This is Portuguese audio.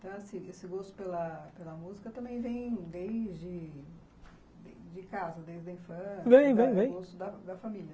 Então, assim, esse gosto pela pela música também vem desde de casa, desde a infância? vem vem vem do gosto da família